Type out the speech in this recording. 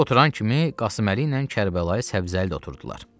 Oturan kimi Qasımlı ilə Kərbəlayı Səbzəli də oturdular.